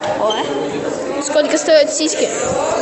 сколько стоят сиськи